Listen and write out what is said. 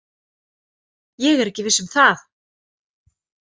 Ég er ekki viss um það.